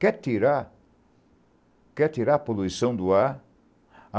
Quer tirar, quer tirar a poluição do ar?